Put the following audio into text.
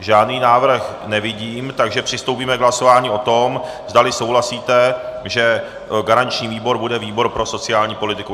Žádný návrh nevidím, takže přistoupíme k hlasování o tom, zdali souhlasíte, že garanční výbor bude výbor pro sociální politiku.